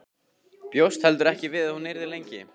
Bjóst heldur ekki við að hún yrði lengi.